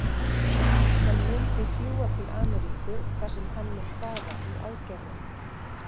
Hann mun því fljúga til Ameríku þar sem hann mun fara í aðgerðina.